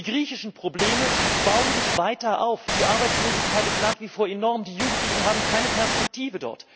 Die griechischen Probleme bauen sich weiter auf, die Arbeitslosigkeit ist nach wie vor enorm, die Jugendlichen haben dort keine Perspektive.